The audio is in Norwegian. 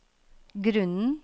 grunnen